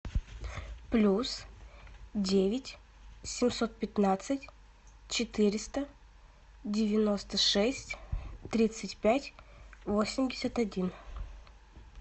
плюс девять семьсот пятнадцать четыреста девяносто шесть тридцать пять восемьдесят один